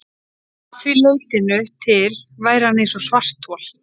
Að því leytinu til væri hann eins og svarthol.